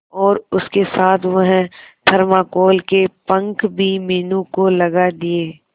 और उसके साथ वह थर्माकोल के पंख भी मीनू को लगा दिए